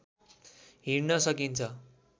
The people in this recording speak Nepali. हिँड्न सकिन्छ